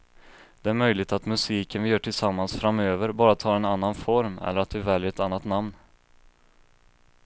Det är möjligt att musiken vi gör tillsammans framöver bara tar en annan form eller att vi väljer ett annat namn.